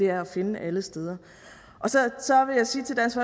er at finde alle steder så vil jeg sige til dansk